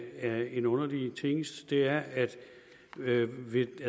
er en underlig tingest er at